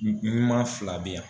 fila bɛ yan.